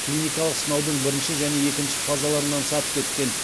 клиникалық сынаудың бірінші және екінші фазаларынан сәтті өткен